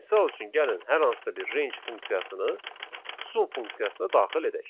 Misal üçün, gəlin hər hansısa bir range funksiyasını sum funksiyasına daxil edək.